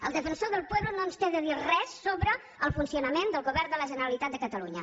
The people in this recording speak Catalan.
el defensor del pueblo no ens té de dir res sobre el funcionament del govern de la generalitat de catalunya